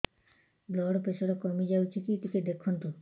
blood pressure କମି ଯାଉଛି କି ଟିକେ ଦେଖନ୍ତୁ